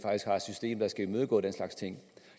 system der skal imødegå den slags ting